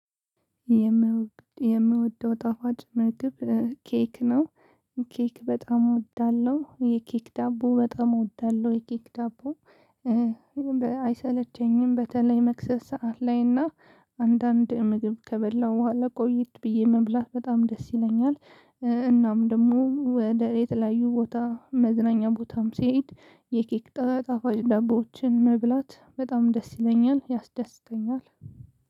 የምወደው ጣፋጭ ምግብ ኬክ ነው። ኬክ በጣም እወዳለሁ። የኬክ ዳቦ በጣም እወዳለሁ። የኬክ ዳቦ አይሰለቸኝም። በተለይ መክሰስ ሰዓት ላይ እና አንዳንድ ምግብ ከበላሁ በኋላ ቆየት ብዬ መብላት በጣም ደስ ይለኛል። እናም ደግሞ ወደ የተለያዩ ቦታ፤ መዝናኛ ቦታም ስሄድ የኬክ ጣፋጭ ዳቦዎችን መብላት በጣም ደስ ይለኛል፤ ያስደስተኛል።